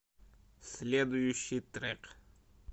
следующий трек